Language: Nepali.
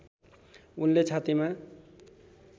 उनले छातीमा